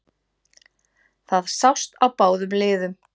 Það sást á báðum liðum